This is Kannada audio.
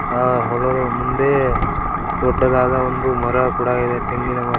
ಆ ಹೊಲದ ಮುಂದೆ ದೊಡ್ಡದಾದ ಒಂದು ಮರ ಕೂಡ ಇದೆ ತೆಂಗಿನ ಮರ.